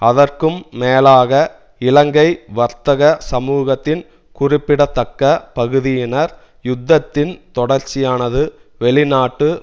அதற்கும் மேலாக இலங்கை வர்த்தக சமூகத்தின் குறிப்பிடத்தக்க பகுதியினர் யுத்தத்தின் தொடர்ச்சியானது வெளிநாட்டு